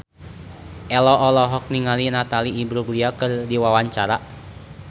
Ello olohok ningali Natalie Imbruglia keur diwawancara